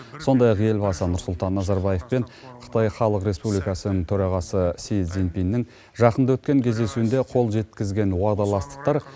сондай ақ елбасы нұрсұлтан назарбаев пен қытай халық республикасының төрағасы си цзиньпиннің жақында өткен кездесуінде қол жеткізген уағдаластықтар